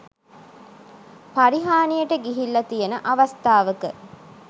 පරිහානියට ගිහිල්ල තියන අවස්ථාවක